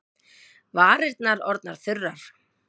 Varirnar orðnar þurrar.